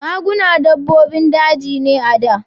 Maguna dabbobin daji ne a da.